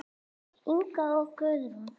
Inga og Guðrún.